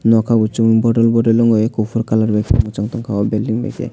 noka bo chung bordor bongui kufur kaler by ke mwchang tonko aw building by khe.